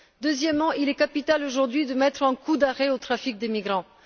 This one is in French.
Deuxièmement, il est capital aujourd'hui de mettre un coup d'arrêt au trafic des migrants.